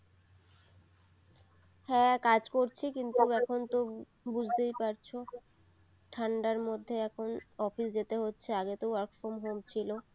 হ্যাঁ কাজ করছি এখনতো বুঝতেই পারছো ঠান্ডার মধ্যে এখন office যেতে হচ্ছে আগে তো work from home ছিল